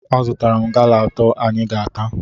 Azụtara m gala atọ anyị ga-ata